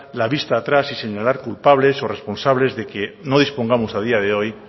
la vista atrás y señalar culpables o responsables de que no dispongamos a día de hoy